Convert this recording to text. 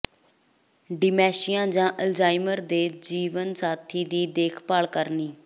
dementia ਜਾਂ Alzheimer ਦੇ ਜੀਵਨ ਸਾਥੀ ਦੀ ਦੇਖਭਾਲ ਕਰਨੀ